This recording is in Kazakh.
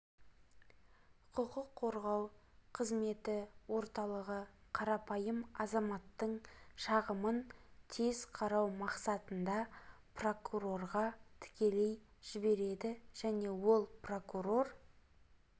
құқық қорғау қызметі орталығы қарапайым азаматтың шағымын тез қарау мақсатында прокурорға тікелей жібереді және ол прокурор